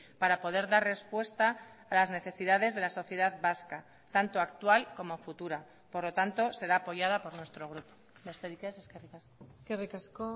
para poder dar respuesta a las necesidades de la sociedad vasca tanto actual como futura por lo tanto será apoyada por nuestro grupo besterik ez eskerrik asko eskerrik asko